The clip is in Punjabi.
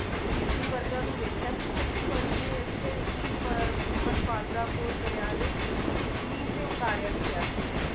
ਗ੍ਰੀਬਰੀ ਵਰਤਾ ਨੂੰ ਵੇਖਿਆ ਤੇ ਛੱਬੀ ਜਨਵਰੀ ਨੂੰ ਇਥੇ ਈਪ~ ਪਨਪਾਦਰਾ ਪੁੱਲ ਦਰਿਆ ਦੇ ਜਮੀਨ ਤੇ ਉਤਾਰਿਆ ਵੀ ਗਿਆ ਸੀ